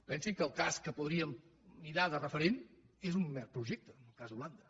pensi que el cas que podríem mirar de referent és un mer projecte el cas d’holanda